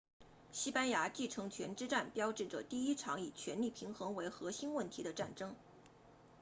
西班牙继承权之战标志着第一场以权力平衡为核心问题的战争